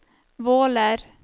Våler